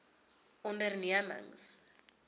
ondernemings